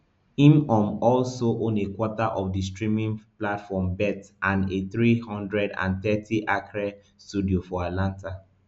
im um also own a quarter of di streaming platform bet and a three hundred and thirtyacre studio for atlanta